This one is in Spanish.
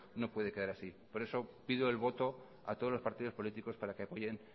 no puede quedar así por eso pido el voto a todos los partidos políticos para que apoyen